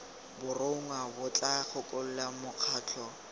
borongwa bo tla gakolola mokgatlho